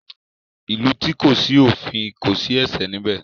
Ìlú tí kò sí òfin kò sí ẹ̀ṣẹ̀ níbẹ̀.